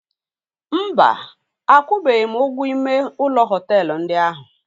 Mba, akwụbeghị m ụgwọ ime ụlọ họtelu ndị ahụ.